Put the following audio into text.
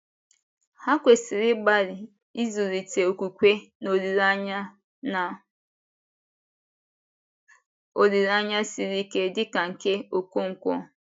Ha kwesịrị ịgbalị ịzụlite okwukwe na olileanya na olileanya siri ike dị ka nke Okonkwo